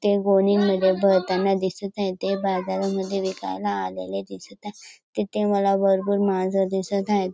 ते गोणीमध्ये भरताना दिसत आहे ते बाजारामध्ये विकायला आलेले दिसत आहे तेथे मला भरपूर माणस दिसत आहेत.